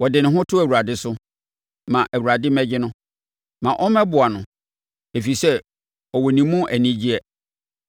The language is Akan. “Ɔde ne ho to Awurade so; ma Awurade mmɛgye no. Ma ɔmmɛboa no, ɛfiri sɛ ɔwɔ ne mu anigyeɛ.”